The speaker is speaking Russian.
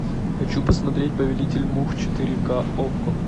хочу посмотреть повелитель мух четыре ка окко